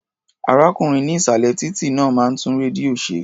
Arákùnrin ní ìsàlẹ̀ títí náà máa ń tún rédíò ṣe.